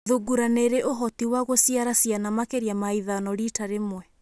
Thungura nĩ ĩrĩ ũhoti wa gũciara ciana makĩria ma ithano rita rĩmwe.